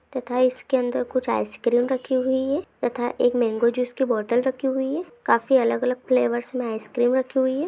तथा इस के अंदर कुछ आइस -क्रीम रखी हुई है तथा एक मांगो ज्यूस की बोटल रखी हुई है काफी अलग-अलग फलेवर्स मे आइस -क्रीम रखी हुई है।